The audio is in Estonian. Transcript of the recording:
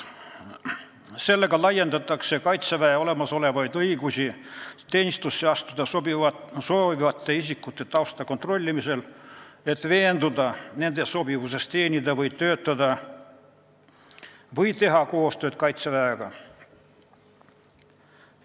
Sellega laiendatakse Kaitseväe õigusi teenistusse astuda soovivate isikute tausta kontrollimisel, et veenduda nende sobivuses teenida Kaitseväes või Kaitseväega koostööd teha.